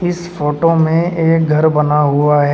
इस फोटो में एक घर बना हुआ है।